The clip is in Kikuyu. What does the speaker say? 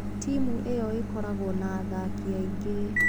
Timu ĩyo ĩkoragwo na athaki aingĩ.